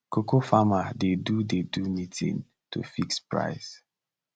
cocoa farmer dey do dey do meeting to fix price